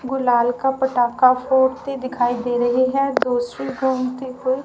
गुलाल का पटाखा फूटते दिखाई दे रही है दूसरे हुई--